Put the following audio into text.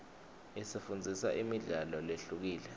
isifundzisa imidlalo lehlukile